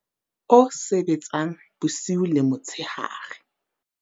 o sebetsang bosiu le motshehare wa